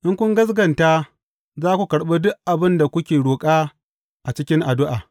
In kun gaskata, za ku karɓi duk abin da kuka roƙa a cikin addu’a.